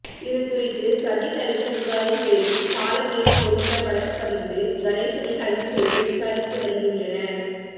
இது குறித்து சதீஷ் அளித்த புகாரின் பேரில் பாலமேடு போலீஸாா் வழக்குப் பதிந்து கணேசனை கைது செய்து விசாரித்து வருகின்றனா்